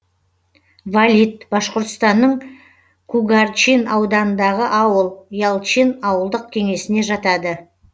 валит башқұртстанның кугарчин ауданындағы ауыл ялчин ауылдық кеңесіне жатады